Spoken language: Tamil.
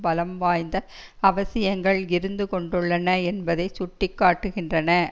பலம் வாய்ந்த அவசியங்கள் இருந்து கொண்டுள்ளன என்பதை சுட்டி காட்டுகின்றன